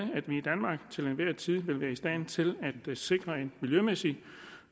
vi i tid vil være i stand til at sikre en miljømæssig